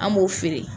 An b'o feere